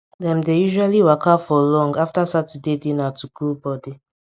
dem dey usually waka for long after saturday dinner to cool body